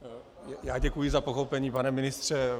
Já děkuji za pochopení, pane ministře.